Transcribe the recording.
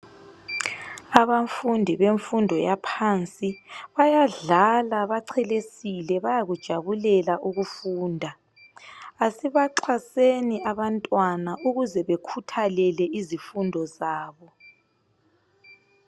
Abafundi bemfundo yaphansi bayadlala bachelesile bayakujabulela ukufunda asibaxhaseni abantwana ukuze bekhuthalele izifundo zabo.